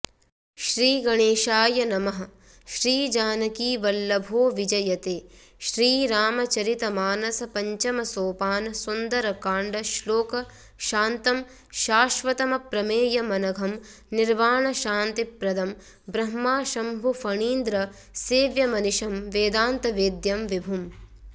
श्रीगणेशाय नमः श्रीजानकीवल्लभोविजयते श्रीरामचरितमानस पञ्चम सोपान सुन्दरकाण्ड श्लोक शान्तं शाश्वतमप्रमेयमनघं निर्वाणशान्तिप्रदं ब्रह्माशम्भुफणीन्द्रसेव्यमनिशं वेदांतवेद्यं विभुम्